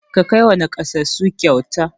Ka kai wa naƙasassu kyauta!